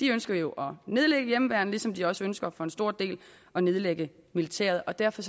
ønsker jo at nedlægge hjemmeværnet ligesom de også ønsker for en stor del at nedlægge militæret og derfor